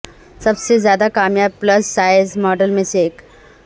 سب سے زیادہ کامیاب پلس سائز ماڈل میں سے ایک